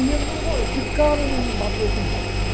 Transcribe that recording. E ele num go, de cara não bateu comigo, né?